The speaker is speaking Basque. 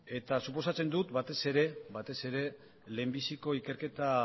suposatzen dut batez ere lehendabiziko ikerketa